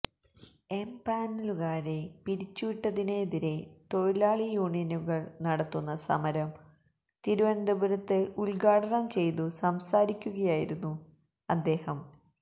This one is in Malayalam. എംപാനലുകാരെ പിരിച്ചുവിട്ടതിനെതിരെ തൊഴിലാളി യൂണിയനുകള് നടത്തുന്ന സമരം തിരുവനന്തപുരത്ത് ഉദ്ഘാടനം ചെയ്തു സംസാരിക്കുകയായിരുന്നു അദ്ദേഹം